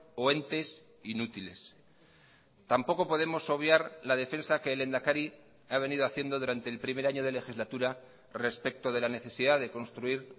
o entes inútiles tampoco podemos obviar la defensa que el lehendakari ha venido haciendo durante el primer año de legislatura respecto de la necesidad de construir